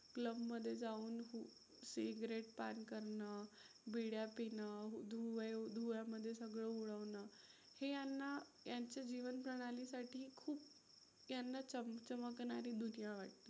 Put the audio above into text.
club मध्ये जाऊन cigarette पान करणं, बिड्या पिणं धुव्यामध्ये सगळं उडवणं हे यांना यांचे जीवनप्रणाली साठी खूप यांना चमकणारी दुनिया वाटते.